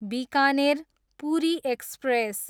Bikaner, Puri express